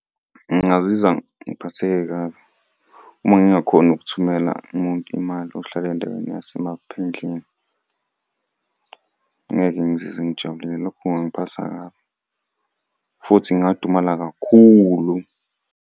Ngingazizwa ngiphatheke kabi uma ngingakhoni ukuthumela umuntu imali ohlala endaweni yasemaphendleni. Ngeke ngizizwe ngijabulile, lokho kungangiphatha kabi, futhi ngingadumala kakhulu.